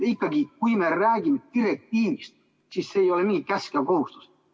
Kui me räägime direktiivist, siis ei ole nii, et see on käsk ja kohustus.